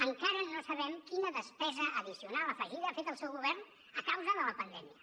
encara no sabem quina despesa addicional afegida ha fet el seu govern a causa de la pandèmia